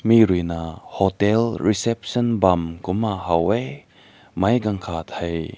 ne rui na hotel reception bam kumna haw weh mai gan kat kai.